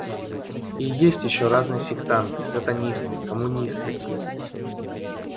и есть ещё разные сектанты сатанисты коммунисты